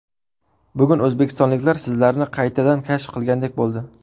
Bugun o‘zbekistonliklar sizlarni qaytadan kashf qilgandek bo‘ldi.